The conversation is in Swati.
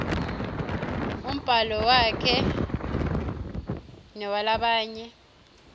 umbhalo wakhe newalabanye